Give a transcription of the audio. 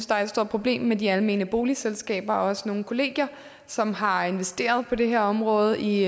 der er et stort problem med de almene boligselskaber og også nogle kollegier som har investeret på det her område i